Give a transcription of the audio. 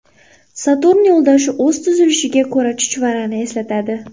Saturn yo‘ldoshi o‘z tuzilishiga ko‘ra chuchvarani eslatadi.